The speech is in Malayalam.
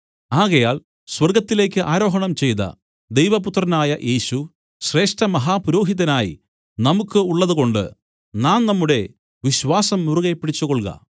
ആകയാൽ സ്വർഗ്ഗത്തിലേക്ക് ആരോഹണം ചെയ്ത ദൈവപുത്രനായ യേശു ശ്രേഷ്ഠമഹാപുരോഹിതനായി നമുക്കു ഉള്ളതുകൊണ്ട് നാം നമ്മുടെ വിശ്വാസം മുറുകെപ്പിടിച്ചുകൊൾക